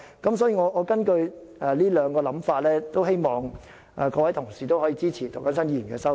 因此，根據這兩種想法，我希望各位同事可以支持涂謹申議員的修正案。